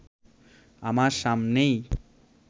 আমার সামনেই